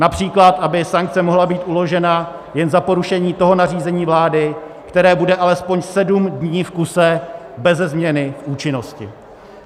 Například aby sankce mohla být uložena jen za porušení toho nařízení vlády, které bude alespoň sedm dní v kuse beze změny v účinnosti.